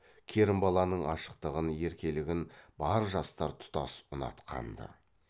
керімбаланың ашықтығын еркелігін бар жастар тұтас ұнатқан ды